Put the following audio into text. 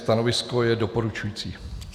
Stanovisko je doporučující.